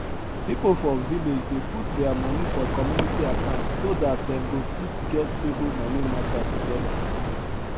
pipo for village dey put their money for community account so dat them go fit get stable money matter togeda